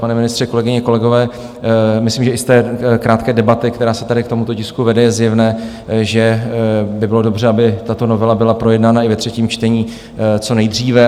Pane ministře, kolegyně, kolegové, myslím, že i z té krátké debaty, která se tady k tomuto tisku vede, je zjevné, že by bylo dobře, aby tato novela byla projednána i ve třetím čtení co nejdříve.